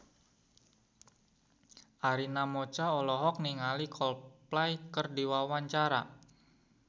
Arina Mocca olohok ningali Coldplay keur diwawancara